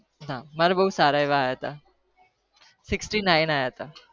હા માર બવ સારા એવા આવ્યા તા